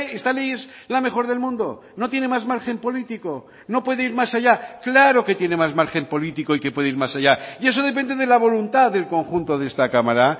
esta ley es la mejor del mundo no tiene más margen político no puede ir más allá claro que tiene más margen político y que puede ir más allá y eso depende de la voluntad del conjunto de esta cámara